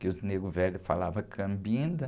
Que os negros velhos falavam.